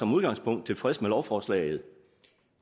udgangspunkt tilfredse med lovforslaget